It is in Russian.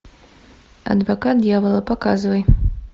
адвокат дьявола показывай